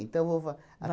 vou fa.